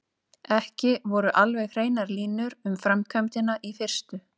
Ekki voru alveg hreinar línur um framkvæmdina í fyrstu.